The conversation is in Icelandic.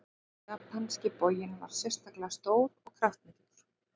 Japanski boginn var sérstaklega stór og kraftmikill.